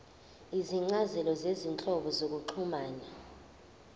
izincazelo zezinhlobo zokuxhumana